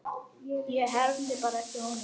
Ég hermdi bara eftir honum